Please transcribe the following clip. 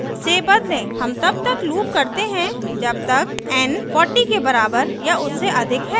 हम तब तक loop करते हैं जब तक n 40 के बराबर या उससे अधिक है